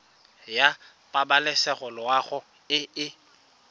ya pabalesego loago e e